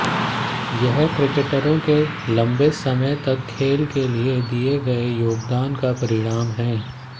यह क्रिकेटरों के लंबे समय तक खेल के लिये दिये गये योगदान का परिणाम है